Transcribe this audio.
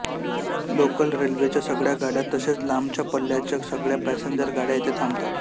local रेल्वेच्या सगळ्या गाड्या तसेच लांबच्या पल्ल्याच्या सगळ्या पॅसेंजर गाड्या येथे थांबतात